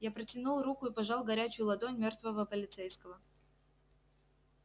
я протянул руку и пожал горячую ладонь мёртвого полицейского